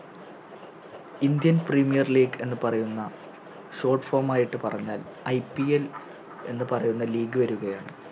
Indian Premier league എന്നു പറയുന്ന Short form ആയിട്ട് പറഞ്ഞാൽ IPL എന്ന് പറയുന്ന League വരുകയാണ്